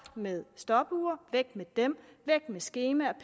med stopure væk med dem væk med skemaer